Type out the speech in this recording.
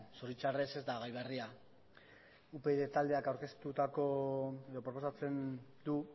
zoritxarrez ez da gai berria upyd taldeak aurkeztutako edo proposatzen du